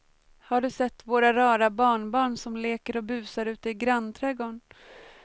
Har du sett våra rara barnbarn som leker och busar ute i grannträdgården!